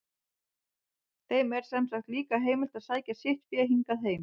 Þeim er sem sagt líka heimilt að sækja sitt fé hingað heim.